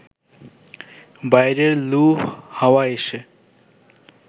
বাইরের লু হাওয়া এসে